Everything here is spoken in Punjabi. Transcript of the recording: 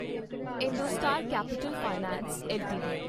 IndoStar Capital Finance LTD